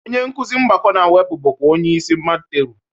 Onye nkuzi mgbakọ na mwepụ bụkwa onye isi madteru